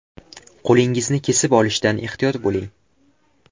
Qo‘lingizni kesib olishdan ehtiyot bo‘ling!